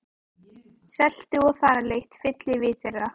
Seltu- og þaralykt fyllir vit þeirra.